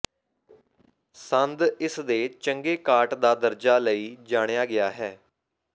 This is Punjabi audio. ਸੰਦ ਇਸ ਦੇ ਚੰਗੇ ਕਾਟ ਦਾ ਦਰਜਾ ਲਈ ਜਾਣਿਆ ਗਿਆ ਹੈ